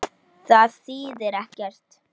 En það þýðir ekkert.